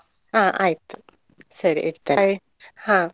ಆ ಆಯ್ತು ಸರಿ ಹಾ.